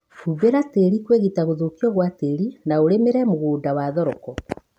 Hũmbira tĩri kwĩgita gũthukio gwa tĩri na ũlĩmĩre mũgũnda wa thoroko